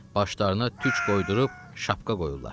Başlarına tük qoydurub şapka qoyurlar.